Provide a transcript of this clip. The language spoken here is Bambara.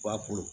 Ba ko